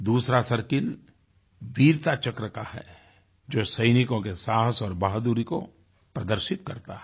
दूसरा सर्किल वीरता चक्र का है जो सैनिकों के साहस और बहादुरी को प्रदर्शित करता है